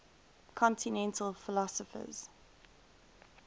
continental philosophers